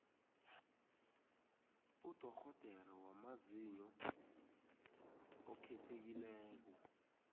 udorhodere wamazinyo okhethekileko